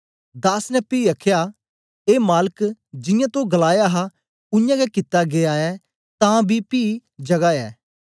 दास ने पी आखया ए मालक जियां तो गलाया हा उयांगै कित्ता गीया ऐ तां बी पी जगा ऐ